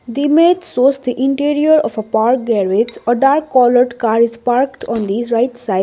the image shows the interior of a park garage a black coloured car is parked on this right side.